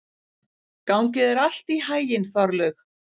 Gangi þér allt í haginn, Þorlaug.